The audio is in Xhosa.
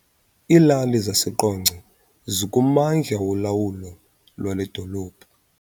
Iilali zaseQonce zikummandla wolawulo lwale dolophu.